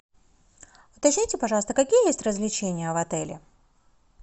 уточните пожалуйста какие есть развлечения в отеле